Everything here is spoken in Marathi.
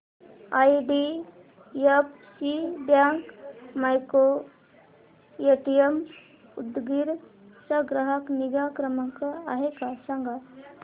आयडीएफसी बँक मायक्रोएटीएम उदगीर चा ग्राहक निगा क्रमांक काय आहे सांगा